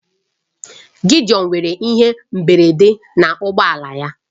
Gideon nwere ihe mberede na ụgbọ ala ya